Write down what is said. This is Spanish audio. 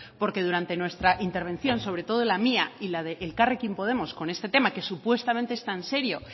porque durante nuestra intervención sobre todo en la mía y la de elkarrekin podemos con este tema que supuestamente es tan serio